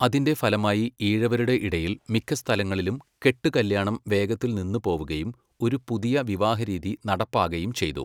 അതിന്റെ ഫലമായി ഈഴവരുടെ ഇടയിൽ മിക്ക സ്ഥലങ്ങളിലും കെട്ടു കല്യാണം വേഗത്തിൽ നിന്നു പോവുകയും ഒരു പുതിയ വിവാഹരീതി നടപ്പാകയും ചെയ്തു.